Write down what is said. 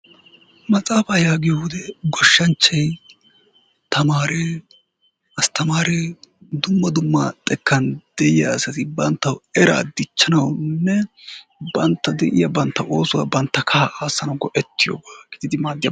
Maxaaafa yaaggiyo wode goshshanchchay , tamaare, asttamare dumma dumma xekkan de'iya asati banttaw era dichchanawunne banttaw de'iyaa bantta era aassanaw go'etiyooba.